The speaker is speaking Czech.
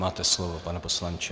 Máte slovo, pane poslanče.